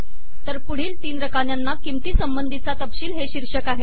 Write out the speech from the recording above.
तर पुढील तीन रकान्यांना किंमतीसंबंधीचा तपशील हे शीर्षक आहे